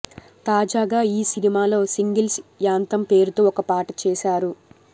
తాజాగా ఈ సినిమాలో సింగిల్స్ యాంతమ్ పేరుతో ఒక పాట చేశారు